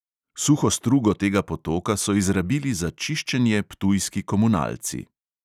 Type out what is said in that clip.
Suho strugo tega potoka so izrabili za čiščenje ptujski komunalci.